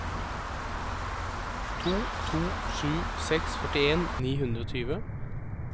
to to sju seks førtien ni hundre og tjue